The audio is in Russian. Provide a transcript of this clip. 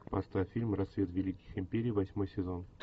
поставь фильм рассвет великих империй восьмой сезон